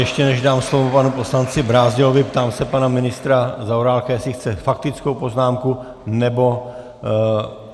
Ještě než dám slovo panu poslanci Brázdilovi, ptám se pana ministra Zaorálka, jestli chce faktickou poznámku nebo...